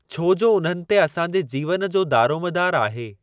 छो जो उन्हनि ते असांजे जीवन जो दारोमदारु आहे।